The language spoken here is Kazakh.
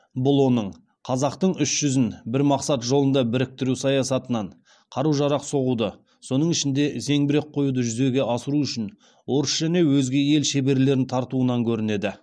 бұл оның қазақтың үш жүзін бір мақсат жолында біріктіру саясатынан қару жарақ соғуды соның ішінде зеңбірек құюды жүзеге асыру үшін орыс және өзге ел шеберлерін тартуынан көрінеді